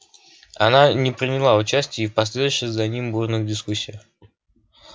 она не приняла участия и в последовавших за ним бурных дискуссиях